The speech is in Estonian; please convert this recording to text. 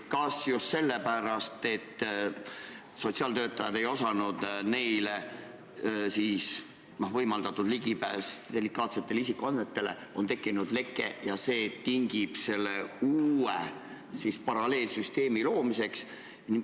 Kas just sellepärast, et sotsiaaltöötajatele oli võimaldatud ligipääs delikaatsele isikuandmetele, tekkis leke ja see tingib selle uue paralleelsüsteemi loomise?